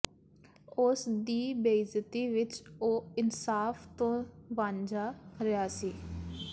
ਉਸ ਦੀ ਬੇਇੱਜ਼ਤੀ ਵਿੱਚ ਉਹ ਇਨਸਾਫ਼ ਤੋਂ ਵਾਂਝਾ ਰਿਹਾ ਸੀ